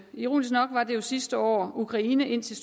ironisk nok var det jo sidste år ukraine indtil